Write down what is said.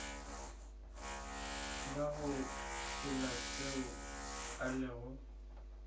bago phela seo a lego